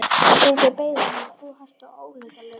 Drengurinn beið hans með tvo hesta, ólundarlegur.